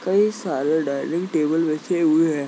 कई सारे dining table रखे हुऐ है ।